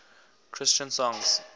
christian songs